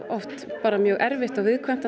oft mjög erfitt og viðkvæmt þá